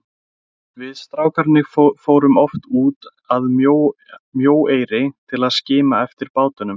Við strákarnir fórum oft út að Mjóeyri til að skima eftir bátunum.